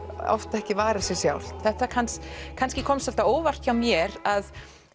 oft ekki varið sig sjálft það kannski kannski kom svolítið á óvart hjá mér að